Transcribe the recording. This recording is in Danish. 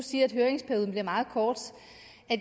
siger at høringsperioden bliver meget kort